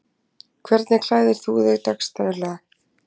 Hvernig klæðir þú þig dagsdaglega